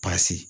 Pasi